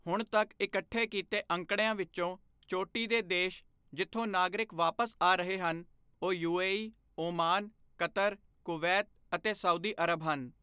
ਹੁਣ ਤੱਕ ਇਕੱਠੇ ਕੀਤੇ ਅੰਕੜਿਆਂ ਵਿੱਚੋਂ, ਚੋਟੀ ਦੇ ਦੇਸ਼ ਜਿੱਥੋਂ ਨਾਗਰਿਕ ਵਾਪਸ ਆ ਰਹੇ ਹਨ ਉਹ ਯੂਏਈ, ਓਮਾਨ, ਕਤਰ, ਕੁਵੈਤ ਅਤੇ ਸਾਊਦੀ ਅਰਬ ਹਨ।